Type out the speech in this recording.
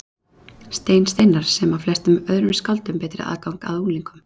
Stein Steinarr, sem á flestum öðrum skáldum betri aðgang að unglingum.